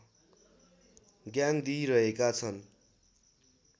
ज्ञान दिइरहेका छन्